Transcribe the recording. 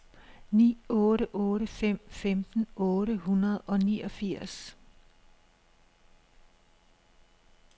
ni otte otte fem femten otte hundrede og niogfirs